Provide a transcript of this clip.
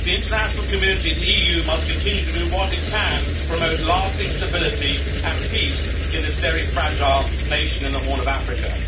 The international community and the EU must continue to do what it can to promote lasting stability and peace in this very fragile nation in the Horn of Africa.